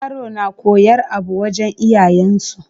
Yaro na koyar abu wajan iyayen su